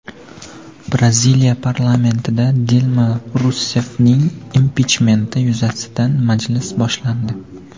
Braziliya parlamentida Dilma Russeffning impichmenti yuzasidan majlis boshlandi.